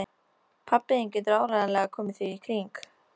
Pabbi þinn getur áreiðanlega komið því í kring